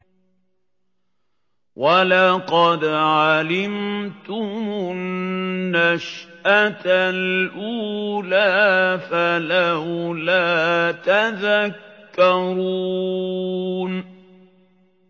وَلَقَدْ عَلِمْتُمُ النَّشْأَةَ الْأُولَىٰ فَلَوْلَا تَذَكَّرُونَ